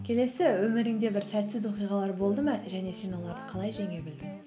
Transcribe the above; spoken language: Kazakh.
келесі өміріңде бір сәтсіз оқиғалар болды ма және сен оларды қалай жеңе білдің